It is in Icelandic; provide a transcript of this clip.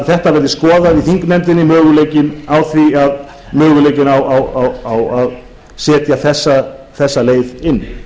þetta verði skoðað í þingnefndinni möguleikinn á að setja þessa leið inn